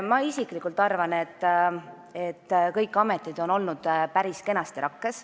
Mina isiklikult arvan, et kõik ametid on olnud päris kenasti rakkes.